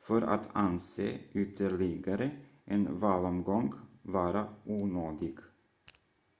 för att anse ytterligare en valomgång vara onödig